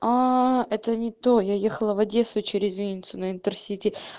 это не то я ехала в одессу через винницу на интерсити